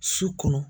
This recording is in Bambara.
Su kɔnɔ